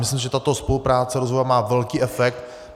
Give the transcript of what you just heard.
Myslím, že tato spolupráce rozvojová má velký efekt.